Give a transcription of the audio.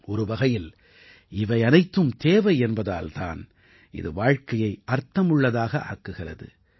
ஒரு வகையில் இவை அனைத்தும் தேவை என்பதால் தான் இது வாழ்க்கையை அர்த்தமுள்ளதாக ஆக்குகிறது